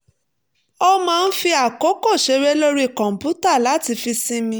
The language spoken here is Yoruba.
ó máa ń fi àkókò ṣeré lórí kọ̀ǹpútà láti fi sinmi